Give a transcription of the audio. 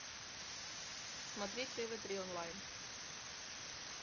смотреть тв три онлайн